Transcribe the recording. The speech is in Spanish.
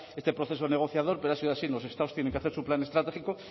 en este proceso negociador pero ha sido así los estados tienen que hacer su plan estratégico